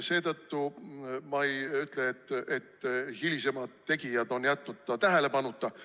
Seetõttu ma ei ütle, et hilisemad tegijad on jätnud selle tähelepanuta.